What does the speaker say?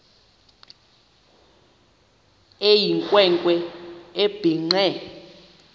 eyinkwe nkwe ebhinqe